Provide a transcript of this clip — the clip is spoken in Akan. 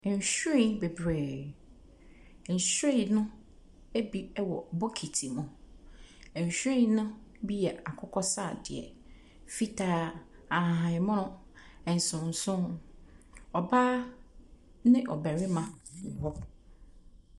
Nhwiren bebree, nhwiren no ebi ɛwɔ bokiti mu. Nhwiren no bi yɛ akokɔ sradeɛ, fitaa, ahahamono, nsonosono. Ɔbaa ne ɔbɛrima wɔ hɔ.